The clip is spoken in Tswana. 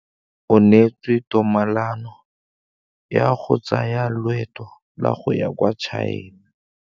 O neetswe tumalanô ya go tsaya loetô la go ya kwa China.